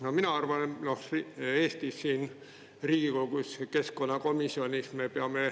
No mina arvan, et me peame selle suuna näitama kätte Eestis, siin Riigikogus ja keskkonnakomisjonis.